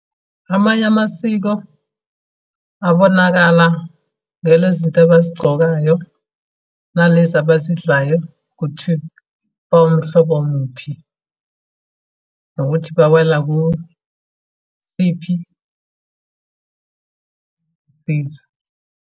Amanye amasiko abonakala ngale zinto abazigcokayo, nalezi abazidlayo, ukuthi bawumhlobo muphi. Nokuthi bawela kuyiphi sizwe.